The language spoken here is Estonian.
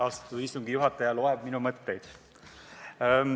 Austatud istungi juhataja loeb minu mõtteid.